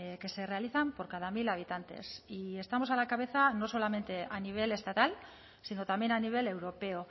que se realizan por cada mil habitantes y estamos a la cabeza no solamente a nivel estatal sino también a nivel europeo